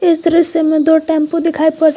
इस दृश्य में दो टेंपो दिखाई पड़--